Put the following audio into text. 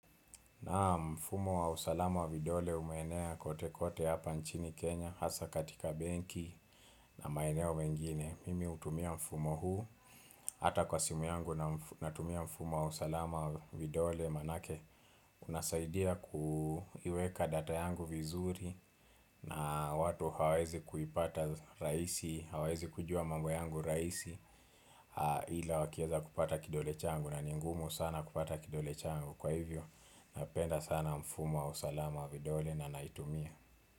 Naam mfumo wa usalama wa vidole umeenea kote kote hapa nchini Kenya hasa katika benki na maeneo mengine. Mimi hutumia mfumo huu hata kwa simu yangu natumia mfumo wa usalama wa vidole maanake unasaidia kuiweka data yangu vizuri na watu hawawezi kuipata rahisi, hawawezi kujua mambo yangu rahisi ila wakiweza kupata kidole changu na ni ngumu sana kupata kidole changu. Kwa hivyo, napenda sana mfumo wa usalama wa vidole na naitumia.